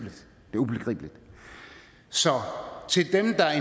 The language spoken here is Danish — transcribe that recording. er ubegribeligt så til dem der